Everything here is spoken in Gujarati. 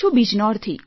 બિજનૌરથી